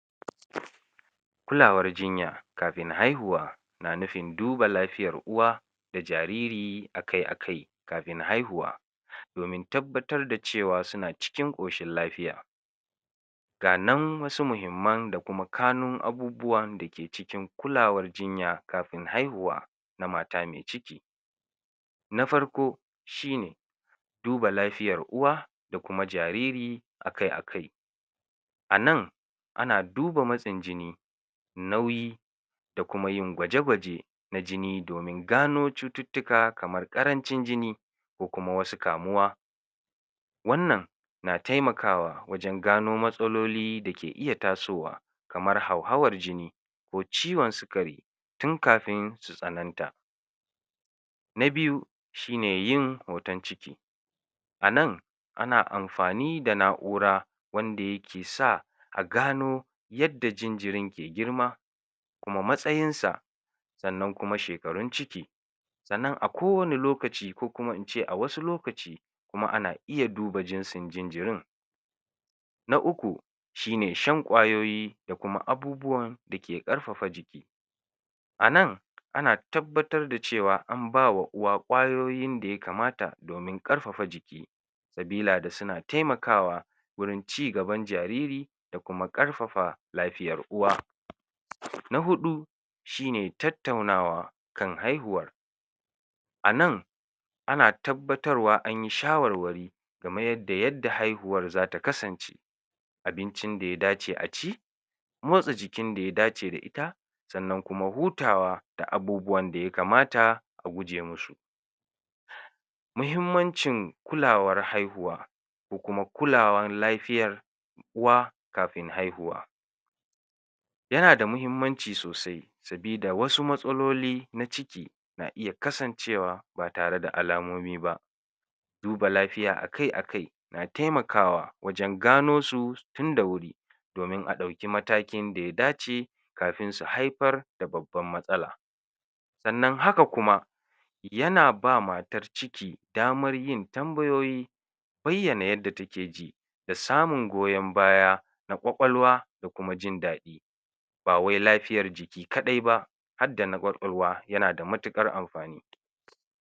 kulawaer jinya kafin haihuwa na nufin duba lafiyar uwa da jariri akai akai kafin haihuwa domin tabbatar da cewa suna cikin ƙoshin lafiya ganan wasu muhimman da kuma kanun abubuwan dake cikin kulawar jinya kafin haihuwa na mata me ciki na farko shine duba lafiyar uwa da kuma jariri akai akai a nan ana duba matsin jini nauyi da kuma yin gwaje gwaje na jini domin gano cututtuka kamar ƙarancin jini ko kuma wasu kamuwa wannan na taimakawa wajan gano matsaloli dake iya tasowa ko ciwon sikari tun kafin su tsananta na biyu shine yin hoton ciki a nan ana amfani da na'ura wanda yake sa a gano yanda jinjirin ya girma da kuma matsayin sa sannan kuma shekarun ciki sannan a kowanne lokaci ko kuma ince a wasu lokaci kuma ana iya duba jinsin jinjirin na uku shine shan ƙwayoyi da kuma abubuwan dake ƙarfafa jiki anan ana yabbatar da cewa an bawa uwa ƙwayoyin daya kamata domin ƙarfafa jiki sabila da suna taimakawa gurin ci gaban jariri da kuma ƙarfafa lafiyar uwa na huɗu shine tattaunawa kan haihuwar a nan ana tabbatarwa anyi shawarwari kamar yadda haihuwar zata kasance abincin daya dace a ci motsa jikin daya dace da ita sannan kuma hutawa da abubuwan daya kamata a guje musu muhimmancin kulawar haihuwa ko kuma kulawar lafiyar uwa kafin haihuwa yana da muhimmanci sosai sabida wasu matsaloli na ciki na iya kasancewa ba tare da alamomi ba duba lafiya akai akai na taimakawa wajan gano su tunda wuri domin a ɗauki matakin daya dace kafin su haifar da babbar matsala sannan haka kuma yana ba matar ciki damar yin tambayoyi bayyana yadda take ji da samun goyon baya na ƙwaƙwalwa da kuma jin daɗi bawai lafiyar jiki kaɗai ba har da na ƙwaƙwalwa yana da matuƙar amfani